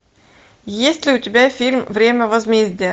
есть ли у тебя фильм время возмездия